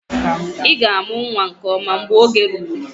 Ị ga-amụ nwa nke ọma mgbe oge ruru